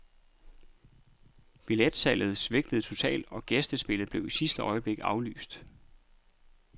Billetsalget svigtede totalt, og gæstespillet blev i sidste øjeblik aflyst.